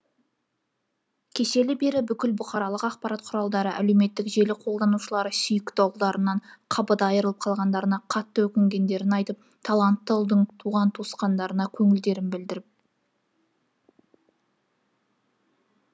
кешелі бері бүкіл бұқаралық ақпарат құралдары әлеуметтік желі қолдананушылары сүйікті ұлдарынан қапыда айырылып қалғандарына қатты өкінетіндерін айтып талантты ұлдың туған туыстарына көңілдерін білдіріп